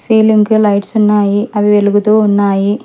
Ceiling కి lights ఉన్నాయి అవి వెలుగుతూ ఉన్నాయి.